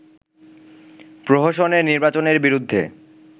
প্রহসনের নির্বাচনের বিরুদ্ধে